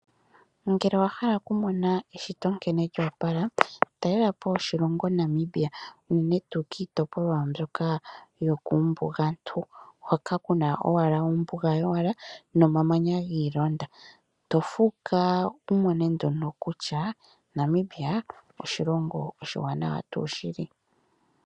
Ngele owahala okumona eshoto nkene lyoopala, talelapo oshilonga Namibia unene tuu kiitopolwa mbyoka yokuumbugantu hoka kuna owala ombuga yowala, nomamanya giilonda tofuuka wumone nduno kutyaa Namibia oshilingo oshiwanawa tuu shili.